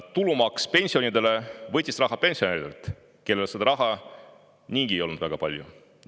Tulumaks pensionidelt võttis raha pensionäridelt, kellel raha niigi polnud väga palju.